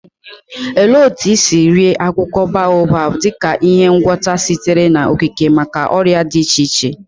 Olee otú e si rie akwụkwọ baobab dị ka ihe ngwọta sitere n'okike maka ọrịa dị iche iche?